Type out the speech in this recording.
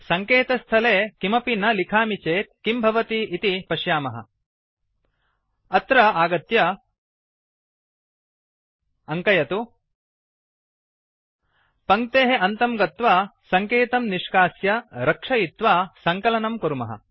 सङ्केतस्थले किमपि न मिखामि चेत् किं भवति इति पश्यामः अत्र आगत्य अङ्कयतु पङ्क्तेः अन्तं गत्वा सङ्केतं निष्कास्य रक्षयित्वा सङ्कलनं कुर्मः